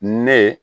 Ne